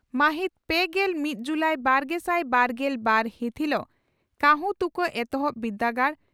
ᱢᱟᱹᱦᱤᱛ ᱯᱮᱜᱮᱞ ᱢᱤᱛ ᱡᱩᱞᱟᱤ ᱵᱟᱨᱜᱮᱥᱟᱭ ᱵᱟᱨᱜᱮᱞ ᱵᱟᱨ ᱦᱤᱛ ᱦᱤᱞᱚᱜ ᱠᱟᱹᱦᱩᱛᱩᱠᱟᱹ ᱮᱛᱚᱦᱚᱵ ᱵᱤᱨᱫᱟᱹᱜᱟᱲ